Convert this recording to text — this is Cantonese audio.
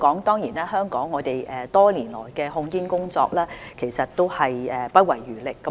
當然，香港多年來的控煙工作也是不遺餘力的。